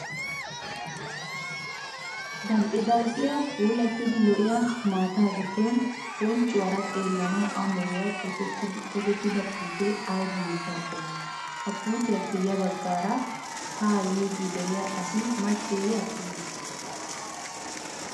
Dalqqidalqqiyaa puulattida lo'iyaa maataa giddon bonccuwaara xeellanawu amoyiyaa tokettida puutee ayiba mittaa qommoo? Ha puutiyaappe yabaggaara haa yiidi de'iyaa asi macceeyye attumee?